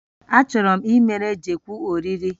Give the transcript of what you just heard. Achọrọ m ịmere Jekwu oriri